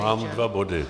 Mám dva body.